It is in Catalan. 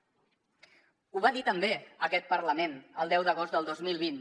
ho va dir també aquest parlament el deu d’agost del dos mil vint